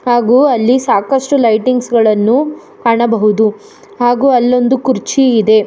ಹಾಗು ಅಲ್ಲಿ ಸಾಕಷ್ಟು ಲೈಟಿಂಗ್ಸ್ ಗಳನ್ನು ಕಾಣಬಹುದು ಹಾಗು ಅಲ್ಲೊಂದು ಕುರ್ಚಿ ಇದೆ.